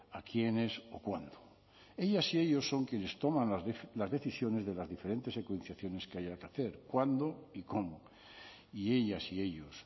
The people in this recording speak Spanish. a quiénes o cuándo ellas y ellos son quienes toman las decisiones de las diferentes secuenciaciones que haya que hacer cuándo y cómo y ellas y ellos